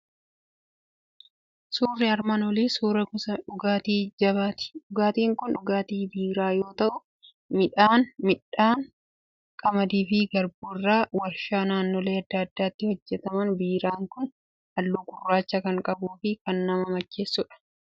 Suurri armaan olii suuraa gosa dhugaatii jabaati. Dhugaatiin kun dhugaatii biiraa yoo ta'u, midhaan qamadii fi garbuu irraa warshaa naannolee adda addaatti hojjetama. Biiraan kun halluu gurraacha kan qabuu fi kan nama macheessudha.